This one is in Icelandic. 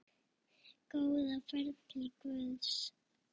Góða ferð til Guðs.